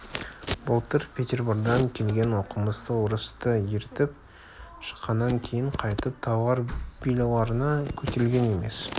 былтыр петербордан келген оқымысты орысты ертіп шыққаннан кейін қайтып талғар белуарына көтерілген емес